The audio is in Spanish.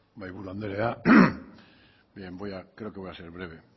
mahaiburu andrea bien creo que voy a ser breve